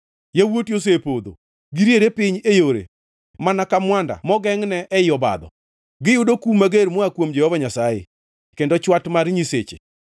Yawuoti osepodho, giriere piny e yore mana ka mwanda mogengʼne ei obadho. Giyudo kum mager moa kuom Jehova Nyasaye kendo chwat mar Nyasache.